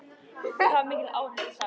Með mikilli áherslu sagt.